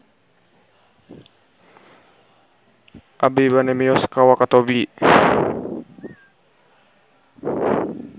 Abi bade mios ka Wakatobi